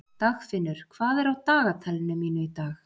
Dagfinnur, hvað er á dagatalinu mínu í dag?